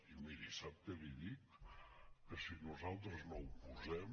i miri sap què li dic que si nosaltres no ho posem